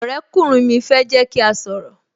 Ọ̀rẹ́ kùnrin mi fẹ́ jẹ́ kí a sọ̀rọ̀